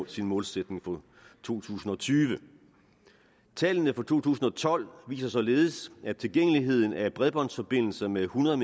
sin målsætning for to tusind og tyve tallene for to tusind og tolv viser således at tilgængeligheden af bredbåndsforbindelser med hundrede